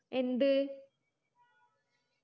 എന്ത്